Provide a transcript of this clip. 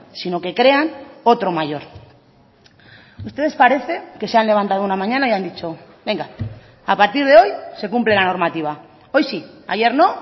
sino que crean otro mayor ustedes parece que se han levantado una mañana y han dicho venga a partir de hoy se cumple la normativa hoy sí ayer no